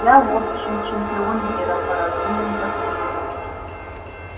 я в общем чемпион мира по разумным поступкам